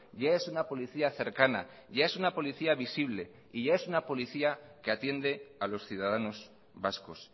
ya es una policía cercana ya es una policía visible y ya es una policía que atiende a los ciudadanos vascos